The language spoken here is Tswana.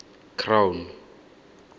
crown